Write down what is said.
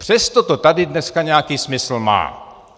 Přesto to tady dneska nějaký smysl má.